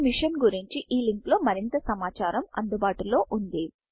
ఈ మిషన్ గురించి httpspoken tutorialorgNMEICT Intro link లో మరింత సమాచారము అందుబాటులో ఉంది